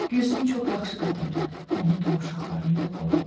Gülsüm çox yaxşı qadındır, onu da, uşaqlarını da qoru.